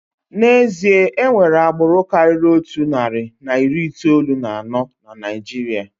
N'ezie, enwere agbụrụ karịrị otu narị na iri itoolu na anọ na Naijiria.